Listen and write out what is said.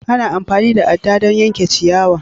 Ana amfani da adɗa don yanke ciyawa.